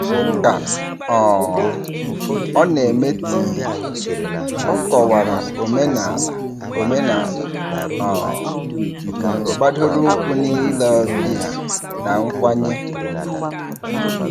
Ka um ọ na-eme tii, ọ kọwara omenala omenala um gbadoroụkwụ n'ile ọbịa na nkwanye ùgwù.